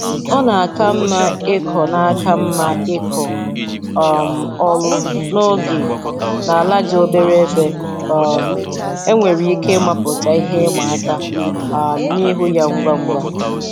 Ọ na-aka mma ịkọ na-aka mma ịkọ um ọrụ n'oge n'ala dị obere ebe um e nwere ike ịmapụta ihe ịma aka um n'ihu ya ngwa ngwa